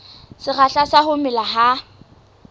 sekgahla sa ho mela ha